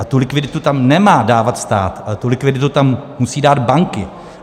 A tu likviditu tam nemá dávat stát, ale tu likviditu tam musí dát banky.